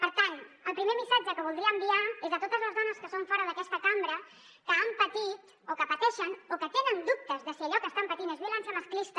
per tant el primer missatge que voldria enviar és a totes les dones que són fora d’aquesta cambra que han patit o que pateixen o que tenen dubtes de si allò que estan patint és violència masclista